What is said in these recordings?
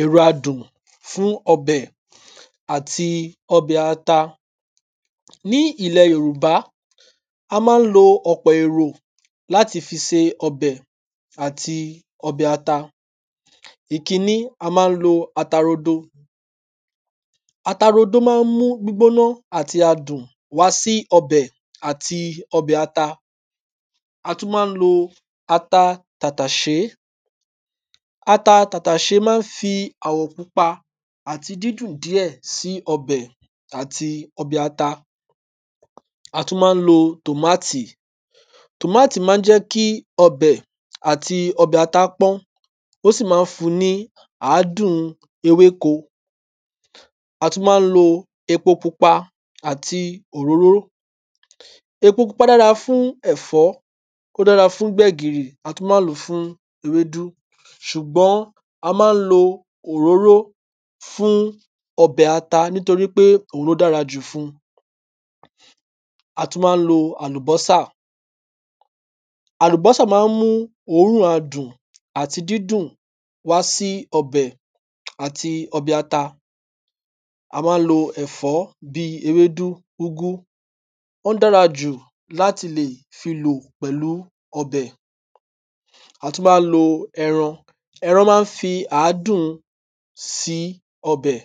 èro adùn fún ọbẹ̀ àti ọbẹ̀ ata ní ìle yòrùbá a má n lo ọ̀pọ̀ èrò láti fi se ọbẹ̀ àti ọbẹ̀ ata? ìkíní a má n lo ata rodo ata rodo má n mú gbígbóná àti adùn wá sí ọbẹ̀ àti ọbẹ̀ ata a tún má n lo ata tàtàṣé ata tàtàṣé má n fi àwọ̀ pupa àti dídùn díè sí ọbẹ̀ àti ọbẹ̀ ata a tún má n lo tòmátì tòmátì má n jẹ́ kí ọbẹ̀ àti ọbẹ̀ ata pọ́n ó sì má n fun ní àádùn ewéko a tún má n lo epo pupa àti òróró epo pupa dára fún ẹ̀fọ́ ó dára fún gbẹ̀gìrì a tún má n lò fún ewédú sùgbọ́n a má n lo òróró fún ọbẹ̀ ata nítorí pé òhun ló dára jù fun a tún má n lo àlùbọ́sà àlùbọ́sà má n mú òrún adùn àti dídùn wá sí ọbẹ̀? àti ọbẹ̀ ata a má n lo ẹ̀fó bí ewédú úgú ó n dára jù láti lè ti lò pẹ̀lú ọbẹ̀ a tún má n lo ẹran ẹran má n fi àdún sí ọbẹ̀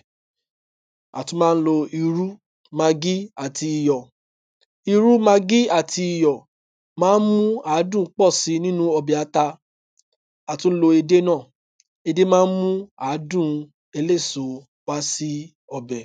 à tún má n lo irú maggi àti iyọ̀ irú maggi àti iyọ̀ má n mú àádùn pọ̀ si nínu ọbẹ̀ ata a tún n lo edé nà edé má n mú àádùn eléso wá sí ọbẹ̀